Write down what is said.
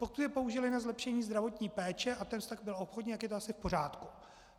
Pokud je použili na zlepšení zdravotní péče a ten vztah byl obchodní, tak je to asi v pořádku.